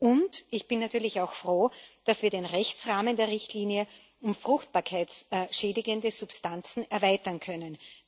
Und ich bin natürlich auch froh, dass wir den Rechtsrahmen der Richtlinie um fruchtbarkeitsschädigende Substanzen erweitern können.